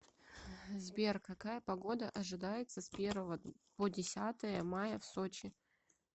сбер какая погода ожидается с первого по десятое мая в сочи